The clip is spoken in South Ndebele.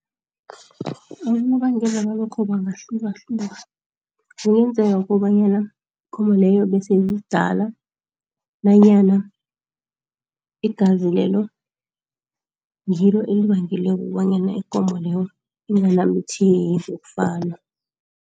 nobangela walokho bangahluka hluka, kungenzeka kobanyana ikomo leyo bese iyidala nanyana igazi lelo ngilo elibangele kobanyana ikomo leyo inganambitheki kokufana.